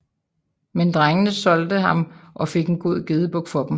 Men drengene solgte han og fik en god gedebuk for dem